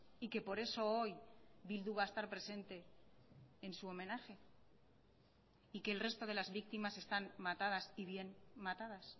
y que por eso hoy bildu va a estar presente en su homenaje y que el resto de las víctimas están matadas y bien matadas